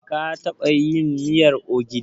Ka taɓa yin miyar ogiri?